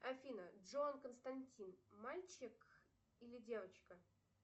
афина джон константин мальчик или девочка